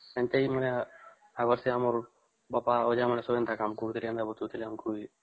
ବାପା ଆଯ ଆମର ଏମତିଆ କାମ କରୁଥିଲେ ବୁଝାଉଥିଲେ ଆମକୁ